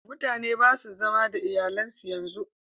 Mutane ba su zama da iyalan su yanzu